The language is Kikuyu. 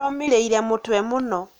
Aromĩrire mũtwe mũno.